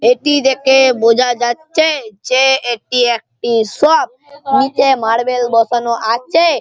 এটি দেখে বোঝা যাচ্ছে যে এটি একটি শপ নিচে মার্বেল বসানো আছে।